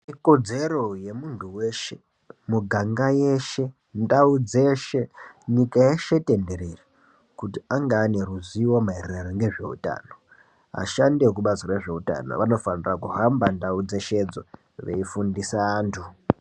Ikodzero yemuntu weshe, miganga yeshe, ndau dzeshe pashireshe tenderere kuti antu ange ane ruzivo maererano nezveutano. Ashandi ekubazi rezveutano anofana kuhamba ndau dzeshedzo veifundise antu.